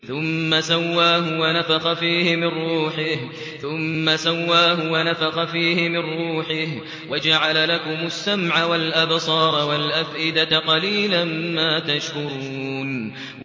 ثُمَّ سَوَّاهُ وَنَفَخَ فِيهِ مِن رُّوحِهِ ۖ وَجَعَلَ لَكُمُ السَّمْعَ وَالْأَبْصَارَ وَالْأَفْئِدَةَ ۚ قَلِيلًا مَّا تَشْكُرُونَ